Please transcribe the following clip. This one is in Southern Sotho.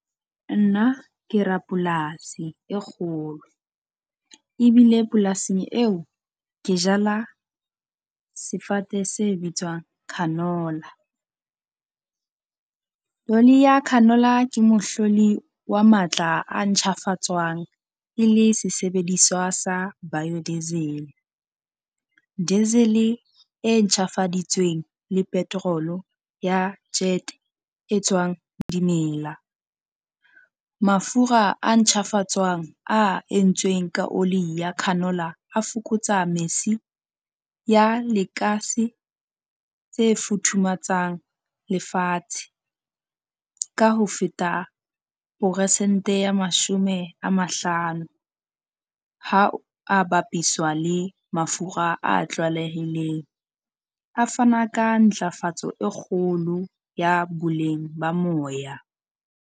Nna ke rapolasi e kgolo, ebile polasing eo ke jala sefate se bitswang canola. Oli ya canola ke mohloli wa matla a nctjhafatswang e le sesebediswa sa bio diesel, diesel-e e ntjhafaditsweng le petrol-o ya jet e tswang dimela. Mafura a ntjhafatswang a entsweng ka oli ya canola a fokotsa mesi ya lekase le futhumatsang lefatshe ka ho feta poresente ya mashome a mahlano, ha a bapiswa le mafura a tlwaelehileng. A fana ka ntlafatso e kgolo ya boleng ba moya.